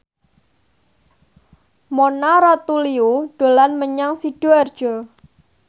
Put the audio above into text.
Mona Ratuliu dolan menyang Sidoarjo